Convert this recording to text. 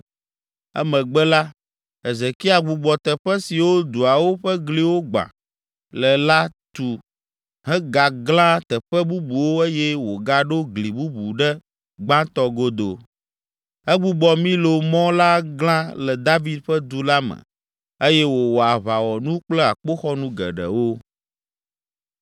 Emegbe la, Hezekia gbugbɔ teƒe siwo duawo ƒe gliwo gbã le la tu hegaglã teƒe bubuwo eye wògaɖo gli bubu ɖe gbãtɔ godo. Egbugbɔ Milo mɔ la glã le David ƒe Du la me eye wòwɔ aʋawɔnu kple akpoxɔnu geɖewo.